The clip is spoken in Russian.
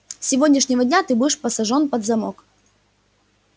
с сегодняшнего дня ты будешь посажен под замок